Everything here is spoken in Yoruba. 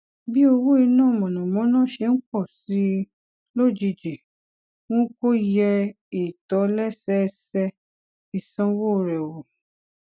bí owó iná mànàmáná ṣe ń pò sí i lójijì mú kó yẹ ìtòlésẹẹsẹ ìsanwó rè wò